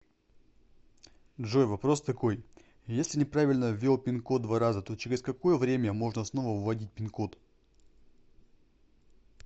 джой вопрос такой если неправильно ввел пин код два раза то через какое время можно снова вводить пин код